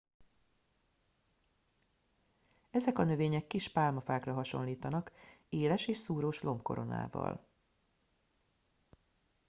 ezek a növények kis pálmafákra hasonlítanak éles és szúrós lombkoronával